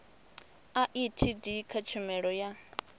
a etd kha tshumelo ya